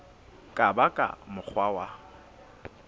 ka ba ka mokgwa wa